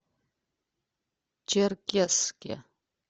черкесске